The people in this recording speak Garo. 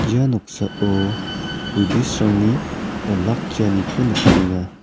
ia noksao buddhist-rangni olakkianiko nikenga.